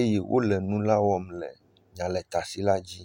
eye nu la wɔm le nyaletasi la dzi..